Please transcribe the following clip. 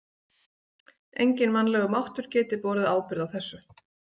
Enginn mannlegur máttur geti borið ábyrgð á þessu.